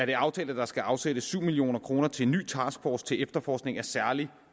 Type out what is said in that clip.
det aftalt at der skal afsættes syv million kroner til en ny taskforce til efterforskning af særlig